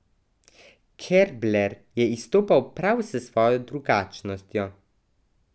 Kerbler je izstopal prav s svojo drugačnostjo.